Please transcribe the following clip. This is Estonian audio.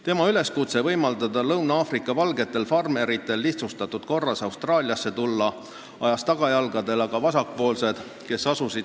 Tema üleskutse võimaldada Lõuna-Aafrika Vabariigi valgetel farmeritel lihtsustatud korras Austraaliasse tulla ajas aga vasakpoolsed tagajalgadele.